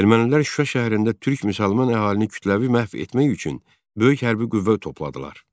Ermənilər Şuşa şəhərində türk müsəlman əhalini kütləvi məhv etmək üçün böyük hərbi qüvvə topladılar.